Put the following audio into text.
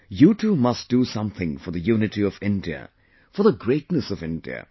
You too must do something for the unity of India, for the greatness of India